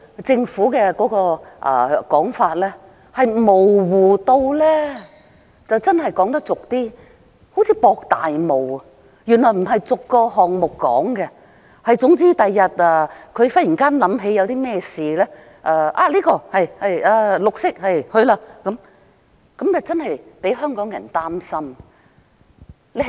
政府現時說法之模糊，粗俗一點說，真的好像在"博大霧"，原來不是逐個項目說明，總之日後政府忽然想起甚麼事情，說是"綠色"的便去做，這的確令香港人感到擔心。